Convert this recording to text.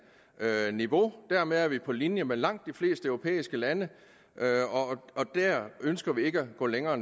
niveau dermed er vi på linje med langt de fleste europæiske lande og vi ønsker ikke at gå længere